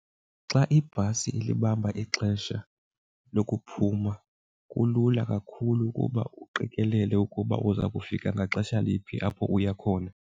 Xa ibhasi ilibamba ixesha lokuphuma kulula kakhulu ukuba uqikelele ukuba uza kufika ngaxesha liphi apho uya khona.